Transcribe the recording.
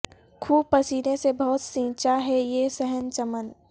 خوں پسینے سے بہت سینچا ہے یہ صحن چمن